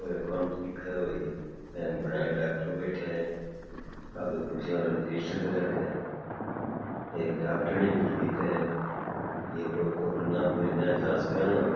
ओ काम ठीक है भाई गोलिया ला डॉक्टर बैठया है आगे कुर्सियां पर रजिस्टर रखिया है एक डाक्टरनी फिर दिखे है ये कोई कोरोना के मरीजा की जाँच करावे कोई।